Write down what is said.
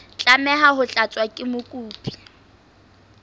tlameha ho tlatswa ke mokopi